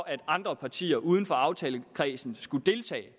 at andre partier uden for aftalekredsen skulle deltage